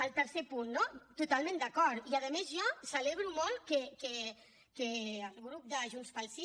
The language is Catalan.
el tercer punt no totalment d’acord i a més jo celebro molt que el grup de junts pel sí